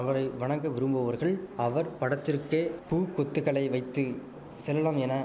அவரை வணங்க விரும்புவோர்கள் அவர் படத்திற்கே பூக்கொத்துகளை வைத்து செல்லலாம் என